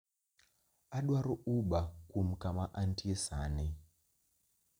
Adwaro uber kuom kama antie sani